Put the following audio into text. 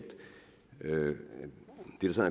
det der